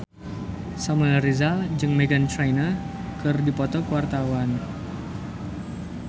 Samuel Rizal jeung Meghan Trainor keur dipoto ku wartawan